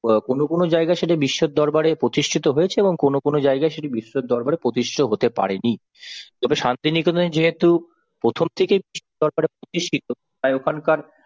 অ্যাঁ কোন কোন জায়গায় সেটি বিশ্বের দরবারে প্রতিষ্ঠিত হয়েছে এবং কোন কোন জায়গায় সেটি বিশ্বের দরবারে প্রতিষ্ঠিত হতে পারেনি। তবে শান্তিনিকেতনে যেহেতু প্রথম থেকেই বিশ্বের দরবারে প্রতিষ্ঠিত তাই ওখানকার